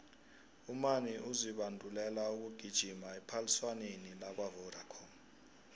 umani uzibandulela ukugijima ephaliswaneni lakwavodacom